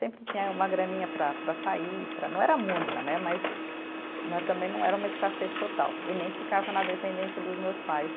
Sempre tinha aí uma graninha para para sair, para não era muita né, mas também não era uma escassez total e nem ficava na dependência dos meus pais.